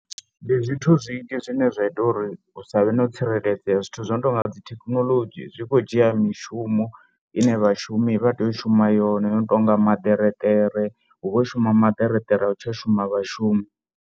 Ndi zwithu zwinzhi zwine zwa ita uri hu sa vhe no tsireledzea zwithu zwo no tou nga dzi thekinoḽodzhi zwi kho dzhia mishumo ine vhashumi vha tea u shuma yone i no tou nga maṱereṱere hu vho shuma maṱerekere a hu tsha shuma vhashumi.